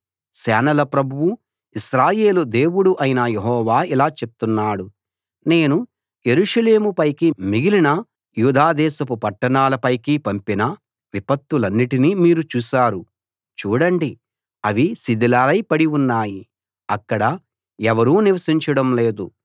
సేనల ప్రభువూ ఇశ్రాయేలు దేవుడూ అయిన యెహోవా ఇలా చెప్తున్నాడు నేను యెరూషలేము పైకీ మిగిలిన యూదా దేశపు పట్టణాల పైకీ పంపిన విపత్తులన్నిటినీ మీరు చూశారు చూడండి అవి శిథిలాలై పడి ఉన్నాయి అక్కడ ఎవరూ నివసించడం లేదు